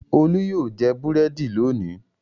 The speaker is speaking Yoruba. Olú yóò jẹ búrẹ́dì lónìí!